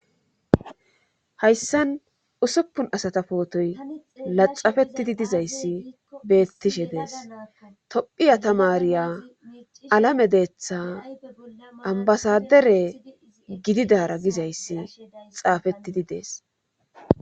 hayssan usuppun asata pootoy laxafettidi dizayssi beettishe dees tophiya tamariya alame deetha ambasadere gididara gizayssi xaafettidi dees